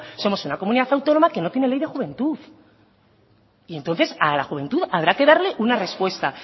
somos una comunidad autónoma que no tiene ley de juventud y entonces a la juventud habrá que darle una respuesta